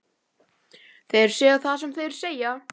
Þeir segja það sem þeir segja,